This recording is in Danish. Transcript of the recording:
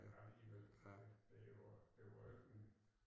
Ja alligevel det det jo det var jo ikke en my